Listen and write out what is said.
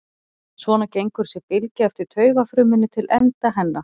Svona gengur þessi bylgja eftir taugafrumunni til enda hennar.